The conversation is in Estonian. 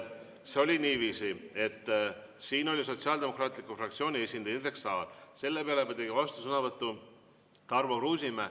See oli niiviisi, et siin oli Sotsiaaldemokraatliku Erakonna fraktsiooni esindaja Indrek Saar, selle peale tegi vastusõnavõtu Tarmo Kruusimäe.